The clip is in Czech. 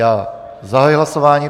Já zahajuji hlasování.